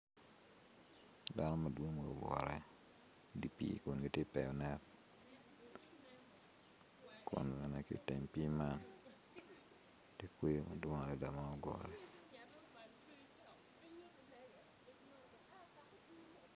Dano madwong ma gugure idye pii kun giti tero net kun bene ki iteng pii man tye kweyo madwong adada ma ogure.